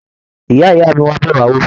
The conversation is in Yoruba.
Ìyá-ìyá mí wá bẹ wà wò.